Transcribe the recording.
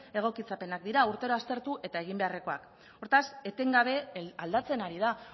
egokitzapenak dira urtero aztertu eta egin beharrekoak hortaz etengabe aldatzen ari da